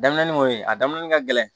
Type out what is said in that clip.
Danbin kɔni a daminɛli ka gɛlɛn